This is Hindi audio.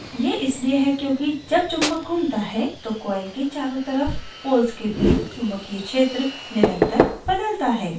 यह इसलिए है क्योंकि जब चुम्बक घूमता है तो coil के चारों तरफ poles के बीच चुम्बकीय क्षेत्र निरन्तर बदलता है